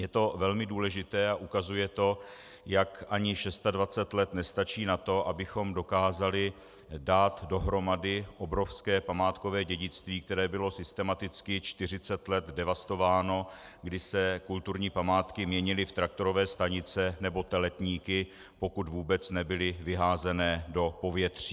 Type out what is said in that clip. Je to velmi důležité a ukazuje to, jak ani 26 let nestačí na to, abychom dokázali dát dohromady obrovské památkové dědictví, které bylo systematicky 40 let devastováno, kdy se kulturní památky měnily v traktorové stanice nebo teletníky, pokud vůbec nebyly vyházeny do povětří.